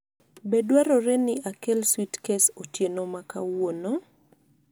Be dwarore ni akel suitkes otieno ma kawuono?